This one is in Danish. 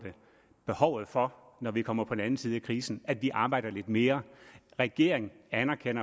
behovet for når vi kommer på den anden side af krisen at vi arbejder lidt mere regeringen anerkender